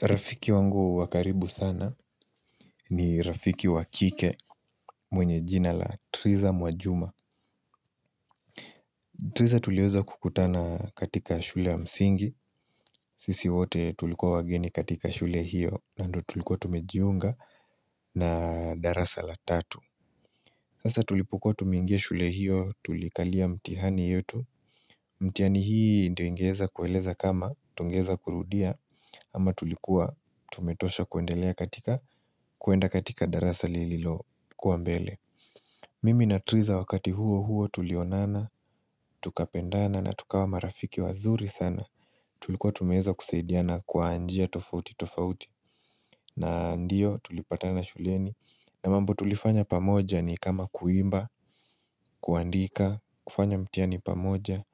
Rafiki wangu wa karibu sana ni Rafiki wa kike mwenye jina la triza mwajuma Triza tuliweza kukutana katika shule ya msingi, sisi wote tulikuwa wageni katika shule hiyo na ndo tulikuwa tumejiunga na darasa la tatu Sasa tulipokuwa tumeingia shule hiyo tulikalia mtihani yetu mtihani hii ndio ingeweza kueleza kama tungeweza kurudia ama tulikuwa tumetosha kuendelea katika kuenda katika darasa lililokuwa mbele Mimi na triza wakati huo huo tulionana, tukapendana na tukawa marafiki wazuri sana Tulikuwa tumeweza kusaidiana kwa njia tofauti tofauti na ndio tulipatana shuleni na mambo tulifanya pamoja ni kama kuimba, kuandika, kufanya mtihani pamoja,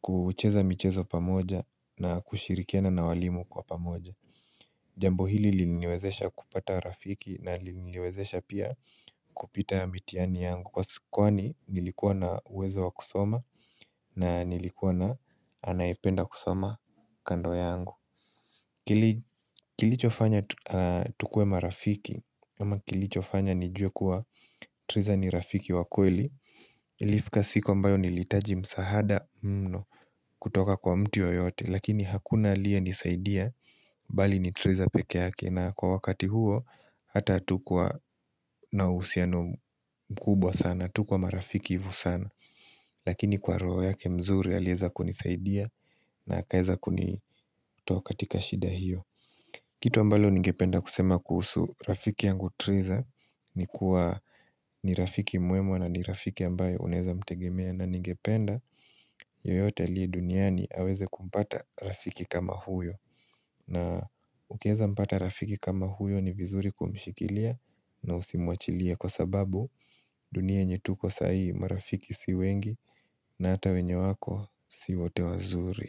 kucheza michezo pamoja na kushirikiana na walimu kwa pamoja Jambo hili liliniwezesha kupata rafiki na liliniwezesha pia kupita mtihani yangu Kwa sikuwa ni nilikuwa na uwezo wa kusoma na nilikuwa na anaipenda kusoma kando yangu Kilicho fanya tukuwe marafiki ama kilicho fanya nijue kuwa Triza ni rafiki wa kweli Ilifika siku ambayo ni litaji msahada mno kutoka kwa mtu yoyote Lakini hakuna alie nisaidia Bali ni Triza pekeyake na kwa wakati huo Hata hatukuwa na uhusiano mkubwa sana tukuwa marafiki hivo sana Lakini kwa roho yake mzuri alieza kunisaidia na akaeza kunitoa katika shida hiyo Kitu ambalo ningependa kusema kuhusu Rafiki yangu Triza ni kuwa ni rafiki mwema na ni rafiki ambayo Unaeza mtegemea na ningependa yoyote aliye duniani aweze kumpata rafiki kama huyo na ukaeza mpata rafiki kama huyo ni vizuri kumshikilia na usimuachilie Kwa sababu dunia yenye tuko sahi marafiki si wengi na hata wenye wako si wote wazuri.